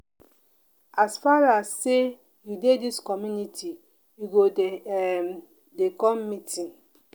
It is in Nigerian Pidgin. as far as sey you dey dis community you go um dey come meeting.